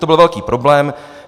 To byl velký problém.